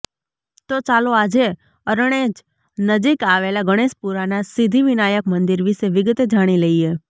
તો ચાલો આજે અરણેજ નજીક આવેલા ગણેશપુરાના સિદ્ધિ વિનાયક મંદિર વિશે વિગતે જાણી લઈએ